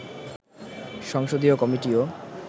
সংসদীয় কমিটিও